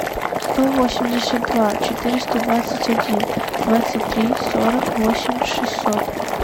сто восемьдесят два четыреста двадцать один двадцать три сорок восемь шестьсот